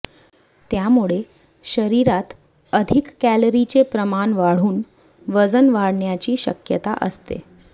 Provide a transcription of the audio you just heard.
त्यामुळे शरीरात अधिक कॅलरीचे प्रमाण वाढून वजन वाढण्याची शक्यता असते